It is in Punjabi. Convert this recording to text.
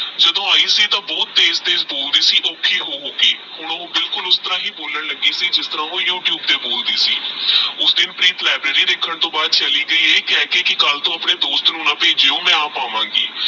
ਜਦੋ ਆਯੀ ਸੀ ਤਹ ਭੂਤ ਤੇਜ਼ ਤੇਜ਼ ਬੋਲਦੀ ਸੀ ਔਖੀ ਹੋ ਹੋ ਕੇ ਹੁਣ ਓ ਬਿਲਕੁਲ ਉਸ ਤਰਾਂ ਹੀ ਬੋਲਣ ਲਾਗੀ ਸੀ ਜਿਸ ਤਰਾਂ ਓਹ ਯੂ-ਟਯੂਬਤੇ ਬੋਲਦੀ ਸੀ ਓਸ ਦਿਨ ਪ੍ਰੀਤ ਲਿਆਬ੍ਰਾਰੀ ਦੇਖ ਦੇ ਬਾਅਦ ਚਲੀ ਗਯੀ ਇਹ ਕਹਕੇ ਕੀ ਕਲ ਟੋਹ ਆਪਣੇ ਦੋਸਤ ਨੂ ਨ ਬੇਜ੍ਯੋ ਮੈ ਆਪ ਆਵਾਂਗੀ